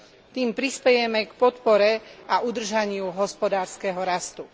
Tým prispejeme k podpore a udržaniu hospodárskeho rastu.